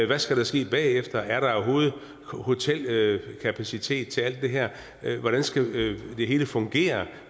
hvad skal der ske bagefter er der overhovedet hotelkapacitet til alt det her hvordan skal det hele fungere